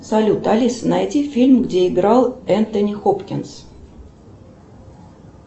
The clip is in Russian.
салют алиса найди фильм где играл энтони хопкинс